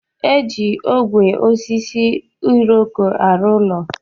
E ji ogwe osisi iroko arụ ụlọ.